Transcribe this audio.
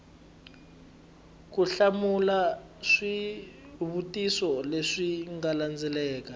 ku hlamula swivutiso leswi landzelaka